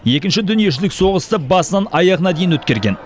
екінші дүниежүзілік соғысты басынан аяғына дейін өткерген